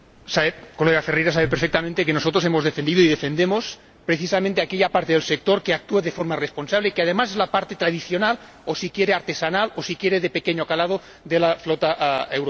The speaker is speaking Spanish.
Señor Ferreira, sabe perfectamente que nosotros hemos defendido y defendemos precisamente aquella parte del sector que actúa de forma responsable y que, además, es la parte tradicional o, si quiere, artesanal o, si quiere, de pequeño calado, de la flota europea.